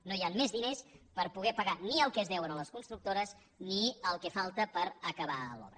no hi han més diners per poder pagar ni el que es deu a les constructores ni el que falta per acabar l’obra